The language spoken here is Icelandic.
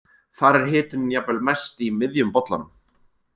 Þar er hitunin jafnvel mest í miðjum bollanum.